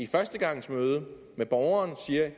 førstegangsmøde med borgeren siger at